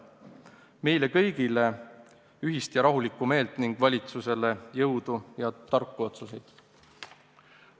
Soovin meile kõigile ühist ja rahulikku meelt ning valitsusele jõudu ja tarku otsuseid!